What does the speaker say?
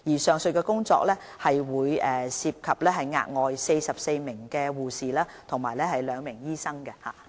上述工作將涉及額外44名護士和2名醫生。